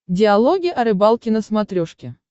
диалоги о рыбалке на смотрешке